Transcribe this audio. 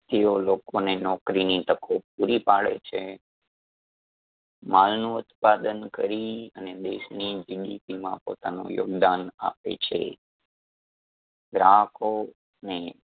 તેઓ લોકોને નોકરીની તકો પૂરી પાડે છે. માલનો ઉત્પાદન કરી અને દેશની GDP માં પોતાનું યોગદાન આપે છે. ગ્રાહકોને